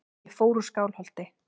Ég fór úr Skálholti.